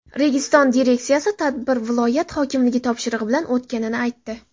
Registon direksiyasi tadbir viloyat hokimligi topshirig‘i bilan o‘tganini aytdi.